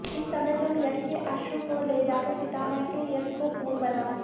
इस समय तुम यज्ञ के अश्व को ले जाकर पितामह के यज्ञ को पूर्ण बनाओ